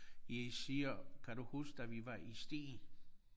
Jeg siger kan du huske da vi var i Stege?